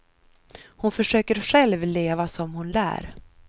Hon försöker själv leva som hon lär.